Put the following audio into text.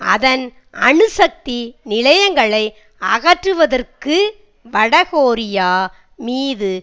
அதன் அணுசக்தி நிலையங்களை அகற்றுவதற்கு வட கொரியா மீது